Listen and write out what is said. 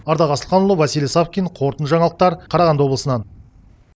ардақ асылханұлы василий савкин қорытынды жаңалықтар қарағанды облысынан